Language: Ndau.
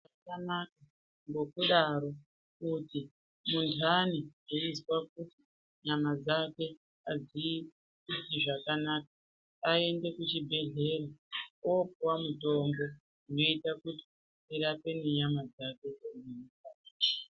Zvakanaka ngokudaro kuti muntani weizwa kuti nyama dzakwe hadzizwi zvakanaka aende kuchibhedhlera oopuwa mutombo unoita kuti urape nenyama dzake...